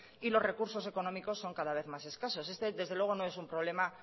y los recursos económicos son cada vez más escasos este desde luego no es un problema